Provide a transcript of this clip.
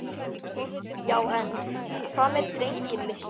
Já en. hvað með drenginn litla?